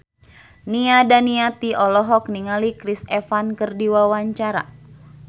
Nia Daniati olohok ningali Chris Evans keur diwawancara